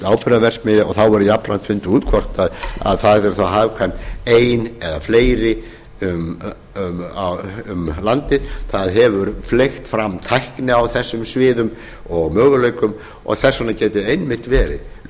áburðarverksmiðja og þá verði jafnframt fundið út hvort það yrði þá hagkvæm ein eða fleiri um landið það hefur fleygt fram tækni á þessum sviðum og möguleikum og þess vegna getur einmitt